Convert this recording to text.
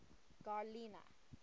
garlina